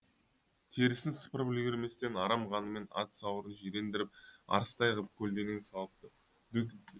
терісін сыпырып үлгерместен арам қанымен ат сауырын жирендіріп арыстай ғып көлденең салыпты